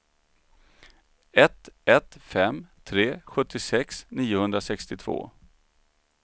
ett ett fem tre sjuttiosex niohundrasextiotvå